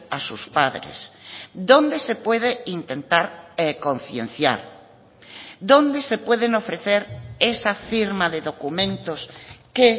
a sus padres dónde se puede intentar concienciar dónde se pueden ofrecer esa firma de documentos que